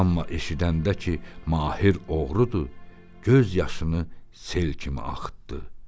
Amma eşidəndə ki, mahir oğrudur, göz yaşını sel kimi axıtdı.